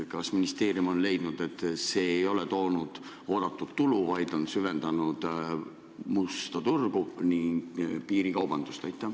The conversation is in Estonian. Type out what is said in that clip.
Kas ministeerium on leidnud, et see ei ole toonud oodatud tulu, vaid on süvendanud musta turgu ja piirikaubandust?